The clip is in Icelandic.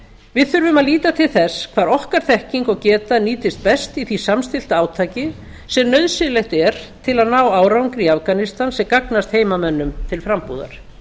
við þurfum að líta til þess hvar okkar þekking og geta nýtist best í því samstillta átaki sem nauðsynlegt er til að ná árangri í afganistan sem gagnast heimamönnum til frambúðar